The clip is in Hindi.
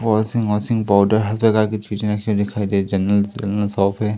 वाशिंग मशीन पाउडर है।